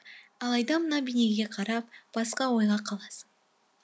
алайда мына бейнеге қарап басқа ойға қаласың